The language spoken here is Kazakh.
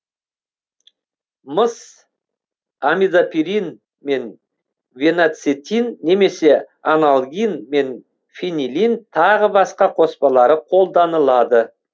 мыс амидопирин мен фенацетин немесе анальгин мен фенилин тағы басқа қоспалары қолданылады